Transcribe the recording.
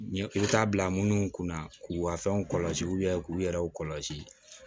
Ɲɛ i bɛ taa bila munnu kunna k'u ka fɛnw kɔlɔsi k'u yɛrɛw kɔlɔsi